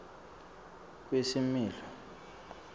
kwesimilo